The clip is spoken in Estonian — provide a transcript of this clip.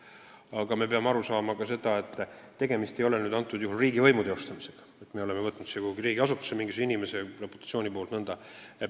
Samas me peame aru saama, et tegemist ei ole riigivõimu teostamisega, sellega, et me oleme võtnud riigiasutusse tööle mingisuguse halva reputatsiooniga inimese.